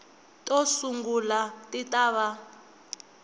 to sungula ti ta va